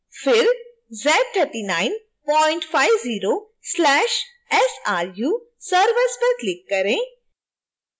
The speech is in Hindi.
फिर z3950/sru servers पर click करें